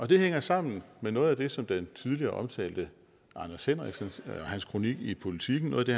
det hænger sammen med noget af det som den tidligere omtalte anders henriksen og hans kronik i politiken